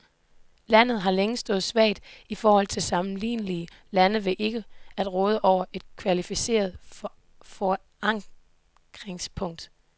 Landet har længe stået svagt i forhold til sammenlignelige lande ved ikke at råde over et kvalificeret forankringspunkt.